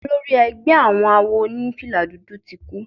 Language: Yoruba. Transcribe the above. Olórí ẹgbẹ́ àwọn àwo onifila dúdú tí kú.